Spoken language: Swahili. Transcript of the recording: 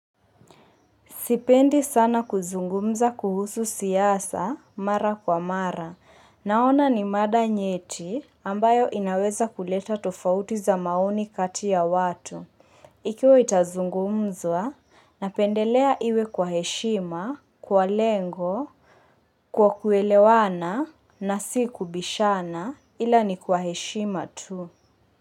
Sipendi sana kuzungumza kuhusu siyasa mara kwa mara. Naona ni mada nyeti ambayo inaweza kuleta tofauti za maoni kati ya watu. Ikiwa itazungumzwa, napendelea iwe kwa heshima, kwa lengo, kwa kuelewana na si kubishana ila ni kwa heshima tu.